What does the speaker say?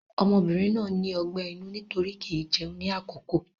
Ọmọbìnrin náà ní ọgbẹ́ inú nítorí kì í jẹun ní àkókò.